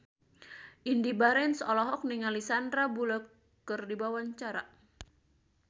Indy Barens olohok ningali Sandar Bullock keur diwawancara